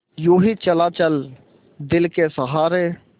यूँ ही चला चल दिल के सहारे